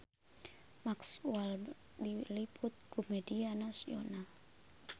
Mark Walberg diliput ku media nasional